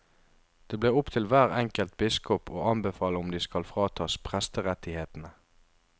Det blir opp til hver enkelt biskop å anbefale om de skal fratas presterettighetene.